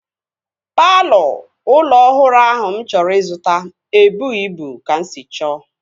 Palọ ụlọ ọhụrụ ahụ mụ chọrọ ịzụta ebughi ịbụ ka m sị chọọ